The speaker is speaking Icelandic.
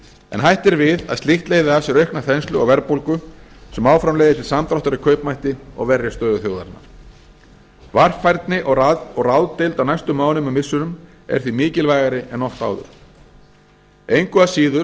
en hætt er við að slíkt leiði af sér aukna þenslu og verðbólgu sem áfram leiðir til samdráttar í kaupmætti og verri stöðu þjóðarinnar varfærni og ráðdeild á næstu mánuðum og missirum er því mikilvægari en oft áður engu að síður